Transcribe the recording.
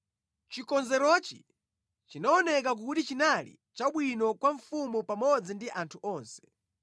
Chikonzerochi chinaoneka kuti chinali chabwino kwa mfumu pamodzi ndi anthu onse.